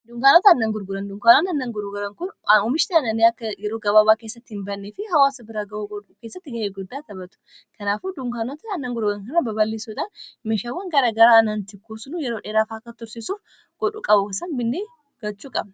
Dunkaanota aannan gurguran dunkaanaan annan guruugaran kun uumishti aananii akka yeroo gabaabaa keessatti hin bannee fi hawaasa biraa ga'au godhu keessatti ga'ee guddaa tabatu kanaafu dunkaanota annan gurugan kara baballiisuudhaan mishawwan gara garaa anantikkusunuu yeroo dheeraafaakka tursiisuur godhu qabu binnee gachuu qaba.